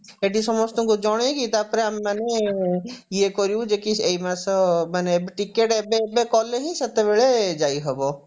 ଏଠି ସମସ୍ତଙ୍କୁ ଜଣେଇକି ତାପରେ ଆମେମାନେ ଇଏ କରିବୁ ଯେ କି ଏଇ ମାସ ମାନେ ticket ଏବେ ଏବେ କଲେ ହିଁ ସେତେବେଳେ ଯାଇ ହବ